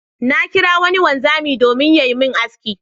Na kirawo wani wanzami domin yayi min aski.